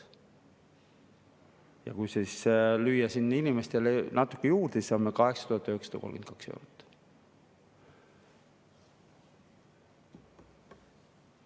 Ja kui siis lüüa siin inimestele natuke juurde, siis saame 8932 eurot.